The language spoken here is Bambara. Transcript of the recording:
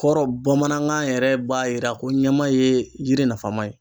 Kɔrɔ bamanankan yɛrɛ b'a jira ko ɲɛma ye yiri nafama ye